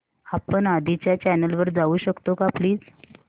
आपण आधीच्या चॅनल वर जाऊ शकतो का प्लीज